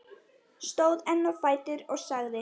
Stóð enn á fætur og sagði